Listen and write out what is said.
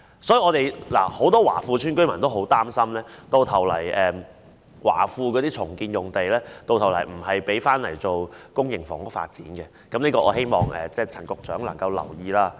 因此，很多華富邨居民都很擔心，華富邨的重建用地最後並非用作公營房屋發展，我希望陳局長能夠留意這方面。